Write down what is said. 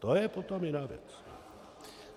To je potom jiná věc.